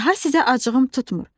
Daha sizə acığım tutmur.